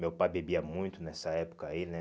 Meu pai bebia muito nessa época aí, né?